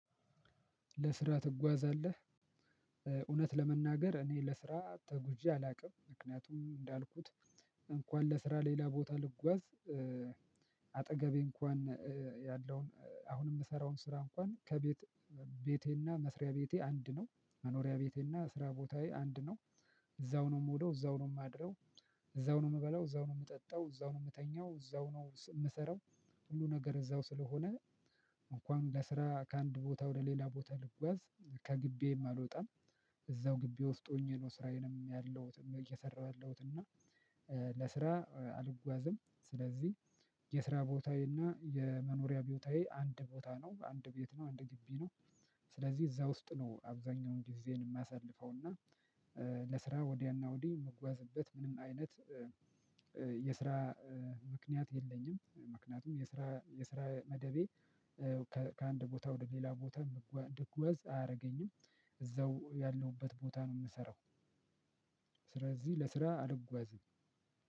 "ለስራ ትጓዛለህ?" እውነት ለመናገር እኔ ለስራ ተጉዤ አላውቅም። ምክንያቱም እንዳልኩት እንኳን ለስራ ሌላ ቦታ ልጓዝ አጠገቤ እንኳን ያለውን አሁን የምሰራውን ስራ እንኳን ከቤት ቤቴና መስሪያ ቤቴ አንድ ነው መኖሪያ ቤቴና ስራ ቦታዬ አንድ ነው። እዛው ነው የምውለው፣ እዛው ነው የማድረው፣ እዛው ነው የምበላው፣ እዛው ነው የምጠጣው፣ እዛው ነው የምተኛው፣ እዛው ነው የምሰራው፣ ሁሉ ነገር እዛው ስለሆነ እንኳን ለስራ ከአንድ ቦታ ወደ ሌላ ቦታ ልጓዝ ከግቢዬም አልወጣም። እዛው ግቢ ወፍጦኝ ነው ስራዬንም ያለሁትም እየሰራሁ ያለሁት እና ለስራ አልጓዝም። ስለዚህ የስራ ቦታዬ እና የመኖሪያ ቦታዬ አንድ ቦታ ነው አንድ ቤት ነው አንድ ግቢ ነው። ስለዚህ እዛ ውስጥ ነው አብዛኛውን ጊዜዬን የማሳልፈው እና ለስራ ወዲያና ወዲህ የምጓዝበት ምንም አይነት የስራ ምክንያት የለኝም ምክንያቱም የስራ የስራ መደቤ ከ ከአንድ ቦታ ወደ ሌላ ቦታ እድጓዝ አያደርገኝም። እዛው ያለሁበት ቦታ ነው የምሰራው። ስለዚህ ለስራ አልጓዝም።